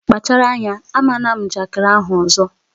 Kpachara anya, ama ná m njakịrị ahụ ọzọ!